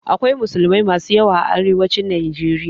Akwai musulmai masu yawa a arewacin Najeriya.